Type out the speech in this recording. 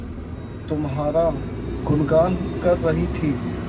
तुम्हारा गुनगान कर रही थी